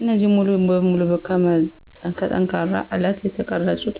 እነዚህ ሙሉ በሙሉ ከጠንካራ አለት የተቀረጹት